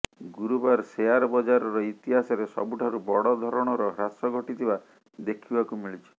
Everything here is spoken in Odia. ଗୁରୁବାର ସେୟାର ବଜାରର ଇତିହାସରେ ସବୁଠାରୁ ବଡ ଧରଣର ହ୍ରାସ ଘଟିଥିବା ଦେଖିବାକୁ ମିଳିଛି